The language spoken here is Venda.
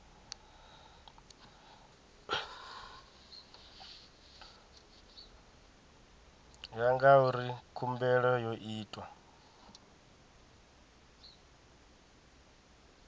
ya ngauri khumbelo yo itwa